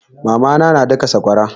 Mama na na daka sakwara.